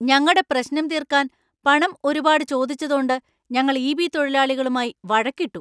ഞങ്ങടെ പ്രശ്നം തീര്‍ക്കാന്‍ പണം ഒരുപാടു ചോദിച്ചതോണ്ട് ഞങ്ങൾ ഇ.ബി. തൊഴിലാളികളുമായി വഴക്കിട്ടു.